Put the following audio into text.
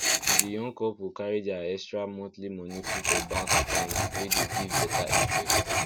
di young couple carry their extra monthly money put for bank account wey dey give better interest